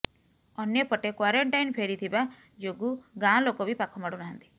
ଅନ୍ୟ ପଟେ କୂରେଣ୍ଟାଇନ ଫେରିଥିବା ଯୋଗୁଁ ଗାଁ ଲୋକ ବି ପାଖ ମାଡୁ ନାହାନ୍ତି